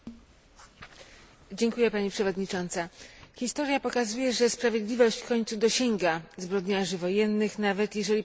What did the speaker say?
Historia pokazuje, że sprawiedliwość w końcu dosięga zbrodniarzy wojennych nawet, jeśli początkowo wymykają się jej z rąk i mylą pościg.